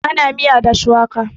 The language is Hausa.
ana miya da shuwaka